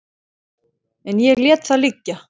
En ég lét það liggja.